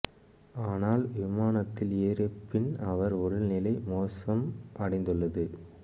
ஆனால் விமானத்தில் ஏறிய பின் அவர் உடல்நிலை மோசம் அடைந்துள்ளது